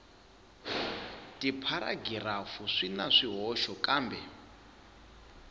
tipharagirafu swi na swihoxo kambe